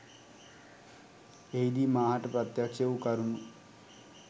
එහිදී මා හට ප්‍රත්‍යක්ෂ වූ කරුණු